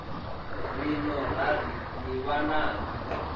ri no rali ni vhananga